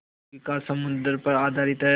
आजीविका समुद्र पर आधारित है